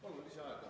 Palun lisaaega!